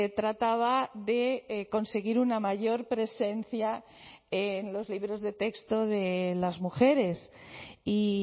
trataba de conseguir una mayor presencia en los libros de texto de las mujeres y